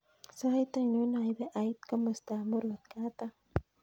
Sait ainon naipe ait komosta ap murot kataam